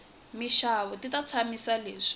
minxavo ti ta tshamisa sweswi